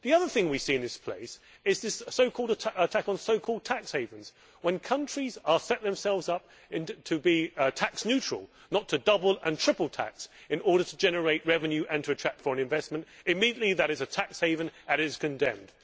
The other thing we see in this place is the attack on so called tax havens. When countries set themselves up to be tax neutral not to double and triple tax in order to generate revenue and to attract foreign investment immediately that is a tax haven and is condemned.